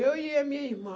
Eu e a minha irmã.